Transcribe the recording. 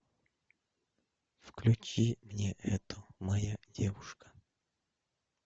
включи мне это моя девушка